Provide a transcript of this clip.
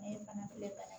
Ne ye bana belebele ba ye